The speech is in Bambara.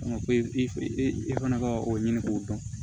Ko i fana ka o ɲini k'o dɔn